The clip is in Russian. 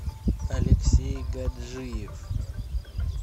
алексей гаджиев